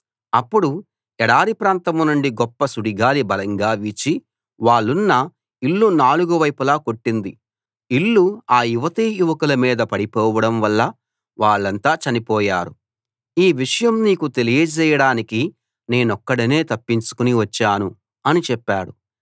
అప్పుడు ఎడారి ప్రాంతం నుండి గొప్ప సుడిగాలి బలంగా వీచి వాళ్ళున్న ఇల్లు నాలుగు వైపులా కొట్టింది ఇల్లు ఆ యువతీయువకుల మీద పడిపోవడం వల్ల వాళ్ళంతా చనిపోయారు ఈ విషయం నీకు తెలియజేయడానికి నేనొక్కడినే తప్పించుకుని వచ్చాను అని చెప్పాడు